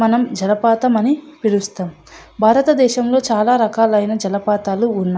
మనం జలపాతం అని పిలుస్తాం భారతదేశంలో చాలా రకాలైన జలపాతాలు ఉన్నాయి.